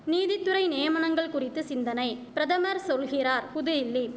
நீதித்துறை நியமனங்கள் குறித்து சிந்தனை பிரதமர் சொல்கிறார் புதுஇல்லி